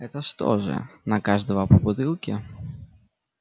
это что же на каждого по бутылке